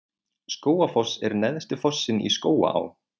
Skógafoss er neðsti fossinn í Skógaá.